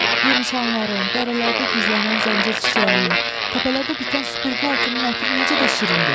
Yemişanların, dərələrdə gizlənən zəncir çiçəyinin, təpələrdə bitən süpürgü otunun ətri necə də şirindir!